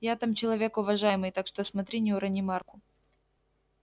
я там человек уважаемый так что смотри не урони марку